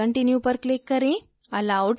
save and continue पर click करें